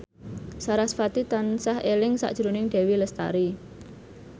sarasvati tansah eling sakjroning Dewi Lestari